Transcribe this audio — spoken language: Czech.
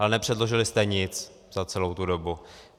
Ale nepředložili jste nic za celou tu dobu.